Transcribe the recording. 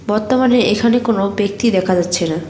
বর্তমানে এখানে কোনও ব্যক্তি দেখা যাচ্ছে না।